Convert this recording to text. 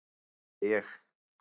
"""Nei, segi ég."""